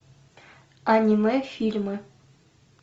аниме фильмы